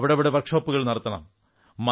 അവിടവിടെ വർക്ഷോപ്പുകൾ നടത്തണം